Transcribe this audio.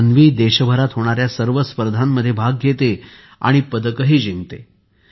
अन्वी आता देशभरात होणाऱ्या सर्व स्पर्धांमध्ये भाग घेते आणि पदक जिंकते